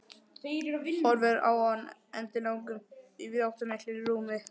Horfir á hann endilangan í víðáttumiklu rúmi.